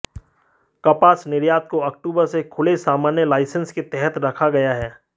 कपास निर्यात को अक्टूबर से खुले सामान्य लाइसेंस के तहत रखा गया है